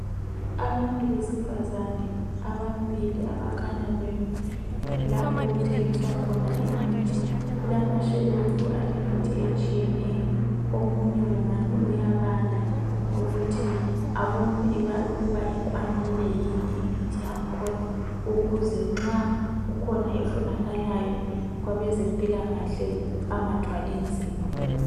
Abantu besifazane ababili, abakhanya bemi lapha okuthengiswa khona imithi . Kulamashelufu alemithi etshiyeneyo. Omunye kungani uyabala ukuthi abone ukuba ikwanile yini imithi yakhona, ukuze nxa kukhona efunakalayo kwabazempilakahle, bangathwali nzima.